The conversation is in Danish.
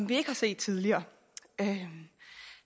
vi ikke har set tidligere